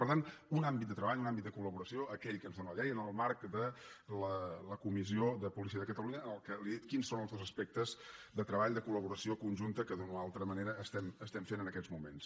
per tant un àmbit de treball un àmbit de col·laboració aquell que ens dóna la llei en el marc de la comissió de policia de catalunya en què li he dit quins són els dos aspectes de treball de collaboració conjunta que d’una o altra manera estem fent en aquests moments